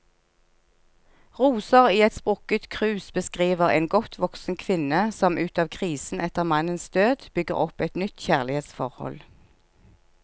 Roser i et sprukket krus beskriver en godt voksen kvinne som ut av krisen etter mannens død, bygger opp et nytt kjærlighetsforhold.